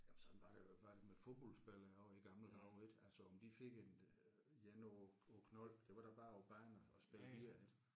Jamen sådan var det jo var det med fodboldspillere også i gamle dage ik altså om de fik et øh jern over over knolden det var da bare på banen og og spille videre ik